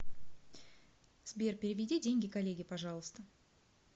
сбер переведи деньги коллеге пожалуйста